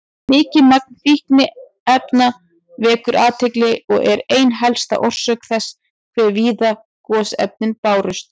Mikið magn fínefna vekur athygli og er ein helsta orsök þess hve víða gosefnin bárust.